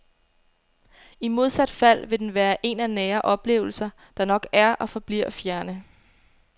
I modsat fald vil den være en af nære oplevelser, der nok er og forbliver fjerne.